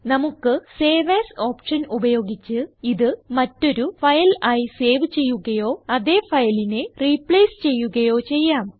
നമുക്ക് save AS option ഉപയോഗിച്ച് ഇത് മറ്റൊരു ഫയൽ ആയി സേവ് ചെയ്യുകയോ അതേ ഫയലിനെ റിപ്ലേസ് ചെയ്യുകയോ ചെയ്യാം